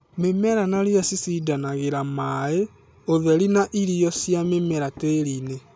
mĩmera na rĩya cĩcĩndanangĩra maaĩ, ũtheri na irio cia mĩmera tĩri-inĩ